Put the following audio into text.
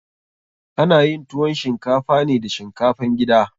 Ana yin tuwon shinkafa ne da shinkafan gida.